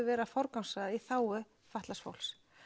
verið að forgangsraða í þágu fatlaðs fólks